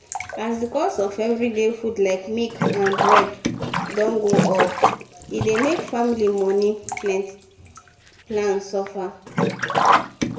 as the cost for every day food like milk and bread dey go upe dey make family money plan suffer.